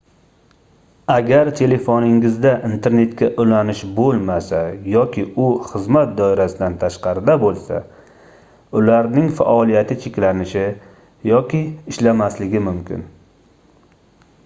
agar telefoningizda internetga ulanish boʻlmasa yoki u xizmat doirasidan tashqarida boʻlsa ularning faoliyati cheklanishi yoki ishlamasligi mumkin